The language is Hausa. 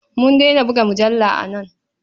Mun daina buga mujalla a nan.